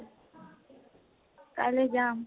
কাইলৈ যাম